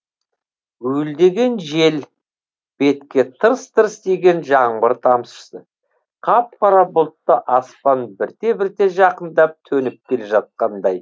уілдеген жел бетке тырс тырс тиген жаңбыр тамшысы қап қара бұлтты аспан бірте бірте жақындап төніп келе жатқандай